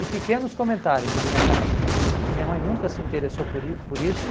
E pequenos comentários na minha casa, porque minha mãe nunca se interessou por i por isso